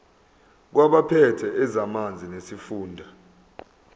kwabaphethe ezamanzi nesifunda